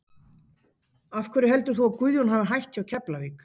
Af hverju heldur þú að Guðjón hafi hætt hjá Keflavík?